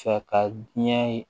Sa ka diɲɛ ye